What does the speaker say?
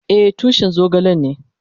Eh, tushin zogale ne.